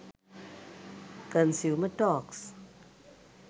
consumer talks